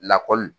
Lakɔli